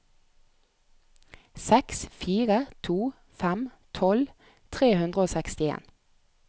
seks fire to fem tolv tre hundre og sekstien